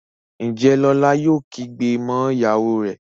Njé Lola yóò kígbe mọ ìyàwó rẹ?